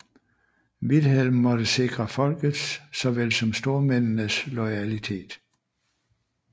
Vilhelm måtte sikre folkets såvel som stormændenes loyalitet